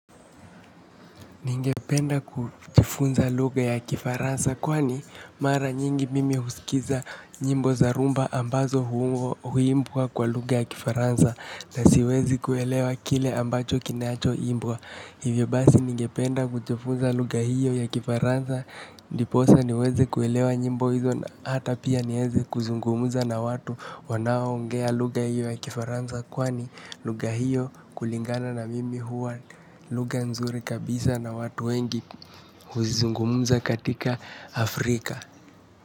Ningependa kujifunza lugha ya Kifaransa kwani mara nyingi mimi husikiliza nyimbo za rhumba ambazo huimbwa kwa lugha ya Kifaransa na siwezi kuelewa kile ambacho kinacho imbwa. Hivyo basi ningependa kujifunza lugha hiyo ya Kifaransa ndiposa niweze kuelewa nyimbo hizo na hata pia niweze kuzungumza na watu wanaoongea lugha hiyo ya Kifaransa kwani lugha hiyo kulingana na mimi huwa lugha nzuri kabisa na watu wengi kuzungumza katika Afrika.